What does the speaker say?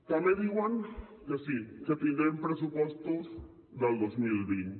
també diuen que sí que tindrem pressupostos del dos mil vint